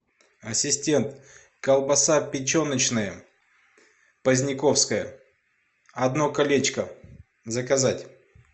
ассистент колбаса печеночная поздняковская одно колечко заказать